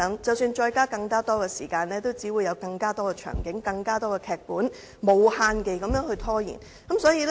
即使增加發言時間，他們也只會提出更多場景，無限期地拖延。